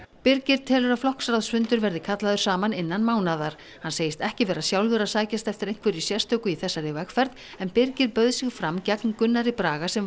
birgir telur að flokksráðsfundur verði kallaður saman innan mánaðar hann segist ekki vera sjálfur að sækjast eftir einhverju sérstöku í þessari vegferð en Birgir bauð sig fram gegn Gunnari Braga sem